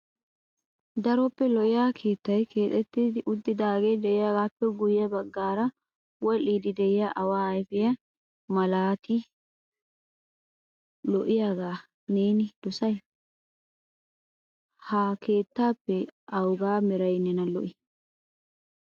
Daroppe lo"iyaa keettay keexxeti uttidaage de'iyaagappe guyye baggay wullidi de'iyaa awa ayfiya malati lo"iyaaga neeni dossay? Ha keettappe awuga meray neena lo"ii?